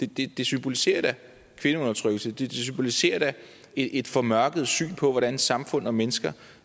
det det symboliserer da kvindeundertrykkelse det symboliserer da et formørket syn på hvordan samfund og mennesker